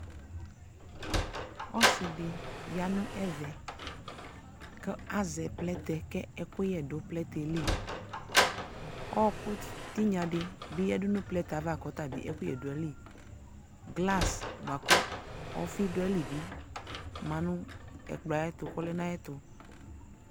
Ɔsɩ dɩ ya nʋ ɛvɛ kʋ azɛ plɛtɛ kʋ ɛkʋyɛ dʋ plɛtɛ yɛ li kʋ ɔɣɔkʋ tɩnya dɩ bɩ yǝdu nʋ plɛtɛ yɛ ava kʋ ɔta bɩ ɛkʋyɛ dʋ ayili Glas bʋa kʋ ɔfɩ dʋ ayili bɩ ma nʋ ɛkplɔ yɛ ayɛtʋ kʋ ɔlɛ nʋ ayɛtʋ